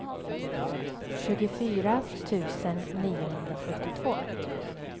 tjugofyra tusen niohundrasjuttiotvå